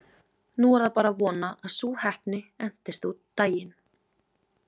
Nú var bara að vona að sú heppni entist út daginn.